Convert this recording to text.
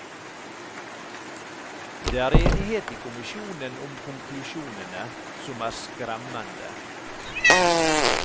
Det er enighet i kommisjonen om konklusjonene, som er skremmende.